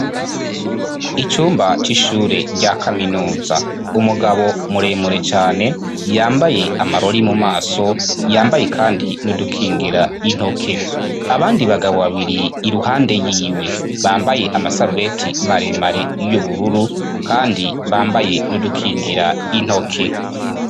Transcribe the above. Icumba c'ishure rya kaminuza, umugabo muremure cane yambaye amarori mu maso, yambaye kandi n'udukingira intoke. Abandi bagabo babiri iruhande yiwe bambaye amasarubeti maremare y'ubururu kandi bambaye n'udukingira intoke.